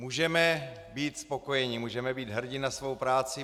Můžeme být spokojeni, můžeme být hrdi na svou práci.